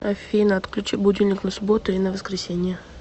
афина отключи будильник на субботу и на воскресенье